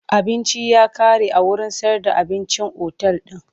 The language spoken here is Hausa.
Abinci ya kare a wurin sayar da abincin otal din.